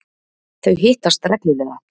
Þau hittast reglulega.